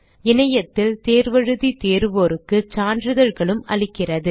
இணையத்தில் தேர்வு எழுதி தேர்வோருக்கு சான்றிதழ்களும் அளிக்கிறது